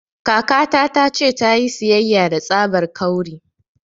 Kakata ta ce ta yi siyayya da tsabar 'kawri'